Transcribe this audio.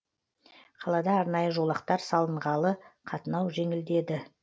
қалада арнайы жолақтар салынғалы қатынау жеңілдеді